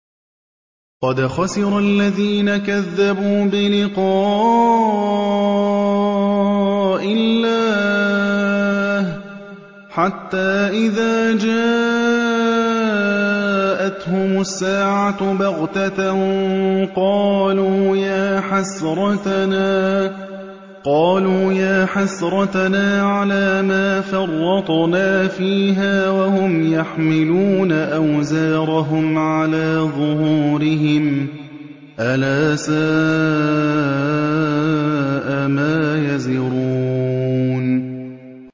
قَدْ خَسِرَ الَّذِينَ كَذَّبُوا بِلِقَاءِ اللَّهِ ۖ حَتَّىٰ إِذَا جَاءَتْهُمُ السَّاعَةُ بَغْتَةً قَالُوا يَا حَسْرَتَنَا عَلَىٰ مَا فَرَّطْنَا فِيهَا وَهُمْ يَحْمِلُونَ أَوْزَارَهُمْ عَلَىٰ ظُهُورِهِمْ ۚ أَلَا سَاءَ مَا يَزِرُونَ